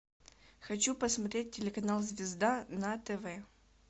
хочу посмотреть телеканал звезда на тв